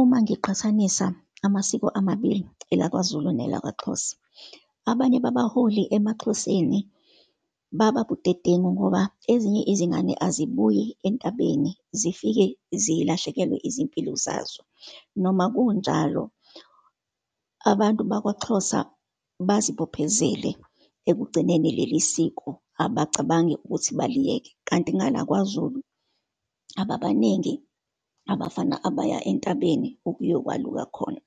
Uma ngiqhathanisa amasiko amabili, elakwaZulu, nelakwaXhosa, abanye babaholi emaXhoseni baba budedengu ngoba ezinye izingane azibuyi entabeni, zifike zilahlekelwe izimpilo zazo. Noma kunjalo, abantu bakwaXhosa bazibophezele ekugcineni leli siko, abacabangi ukuthi baliyeke. Kanti ngala kwaZulu, ababaningi abafana abaya entabeni okuyokwaluka khona.